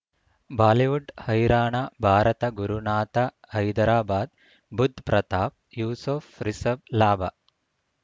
Bollywood ಹೈರಾಣ ಭಾರತ ಗುರುನಾಥ ಹೈದರಾಬಾದ್ ಬುಧ್ ಪ್ರತಾಪ್ ಯೂಸುಫ್ ರಿಷಬ್ ಲಾಭ